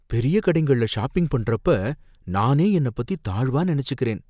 ரொம்ப பெரிய கடைங்கள்ல ஷாப்பிங் பண்றப்ப நானே என்னப்பத்தி தாழ்வா நினைச்சிக்கிறேன்.